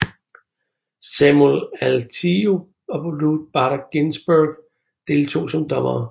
Samuel Alito og Ruth Bader Ginsburg deltog som dommere